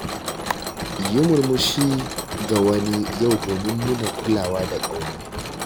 Yi murmushi ga wani yau domin nuna kulawa da ƙauna.